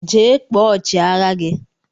Jee kpọọ ọchi agha gi!!